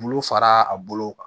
Bulu fara a bolo kan